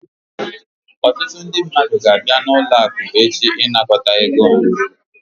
Ọtụtụ ndị mmadụ ga-abịa n'ụlọ akụ echi ịnakọta ego ha